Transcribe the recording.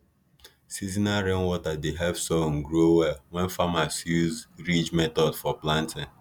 seasonal rainwater dey help sorghum grow well when farmers use ridge method for planting